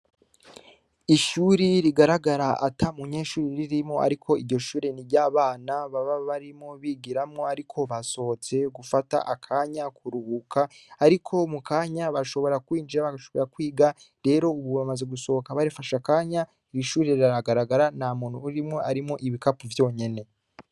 Ishuri rigaragara ata mu nyeshuri ririmo, ariko iryo shure ni ry'abana baba barimo bigiramwo, ariko basohotse gufata akanya kuruhuka, ariko mu kanya bashobora kwinjira bagashobora kwiga rero, ubu bamaze gusohoka barifasha kanya irishuri raragaragara na muntu urimwo arimwo ibikapu vyonya nene.